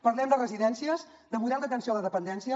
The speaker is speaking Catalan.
parlem de residències de model d’atenció a la dependència